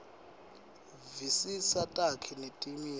visisa takhi netimiso